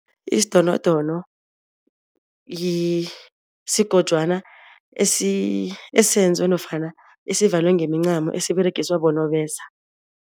Isidonodono sigojwana esenziwe nofana esivalwe ngemincamo esiberegiswa bonobesa.